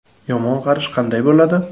Yomon qarish qanday bo‘ladi?